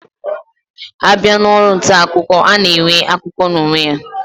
Abia na Ọrụ ntaakụkọ, ana enwe akụkọ na onwe ya